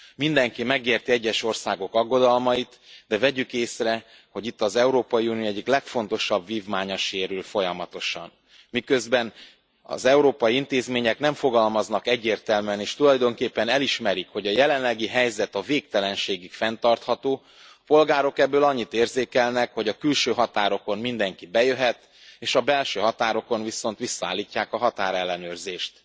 Mindenki megérti az egyes országok aggodalmait, de vegyük észre, hogy itt az Európai Unió egyik legfontosabb vívmánya sérül folyamatosan. Miközben az európai intézmények nem fogalmaznak egyértelműen, és tulajdonképpen elismerik, hogy a jelenlegi helyzet a végtelenségig fenntartható, a polgárok ebből annyit érzékelnek, hogy a külső határokon mindenki bejöhet, és a belső határokon viszont visszaállítják a határellenőrzést.